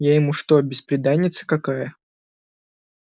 я что ему бесприданница какая